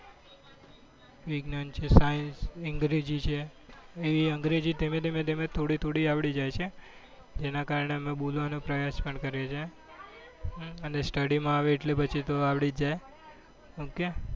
વિજ્ઞાન છે science અંગ્રેજી છે અંગ્રેજી ધીમે ધીમે ધીમે થોડી અવળી જાય છે એના કારણે અમે બોલવા નો પ્રયાસ પણ કરીએ છીએ અને study મમા આવે એટલે પછી તો અવળી જ જાય ok